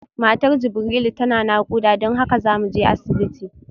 Matar Jibrilu tana nakuda don haka zamuje asibiti